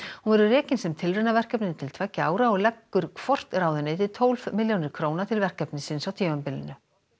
hún verður rekin sem tilraunaverkefni til tveggja ára og leggur hvort ráðuneyti tólf milljónir króna til verkefnisins á tímabilinu